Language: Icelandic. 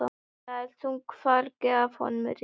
Það er þungu fargi af honum létt.